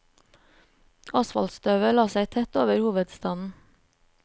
Asfaltstøvet la seg tett over hovedstaden.